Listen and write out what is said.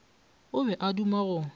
o be a duma go